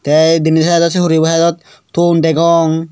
te denedi side dot se horeyi bo side dot ton degong.